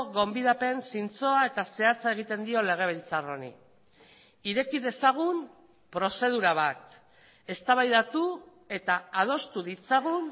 gonbidapen zintzoa eta zehatza egiten dio legebiltzar honi ireki dezagun prozedura bat eztabaidatu eta adostu ditzagun